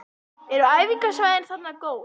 Eru æfingasvæðin þarna góð?